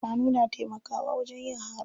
Shanu na taimakawa wajen yin haro.